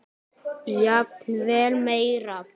Jafnvel meira.